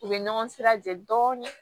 U bɛ ɲɔgɔn sira jɛ dɔɔnin